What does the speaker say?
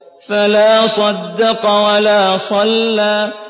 فَلَا صَدَّقَ وَلَا صَلَّىٰ